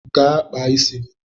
Gaa kpaa isi gi